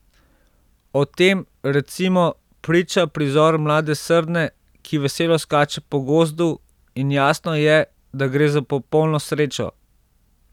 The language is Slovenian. O tem, recimo, priča prizor mlade srne, ki veselo skače po gozdu, in jasno je, da gre za popolno srečo.